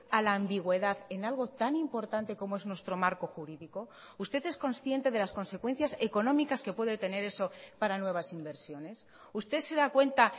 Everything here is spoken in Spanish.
a la ambigüedad en algo tan importante como es nuestro marco jurídico usted es consciente de las consecuencias económicas que puede tener eso para nuevas inversiones usted se da cuenta